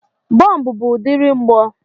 Bọmbụ bu udiri mgbọ.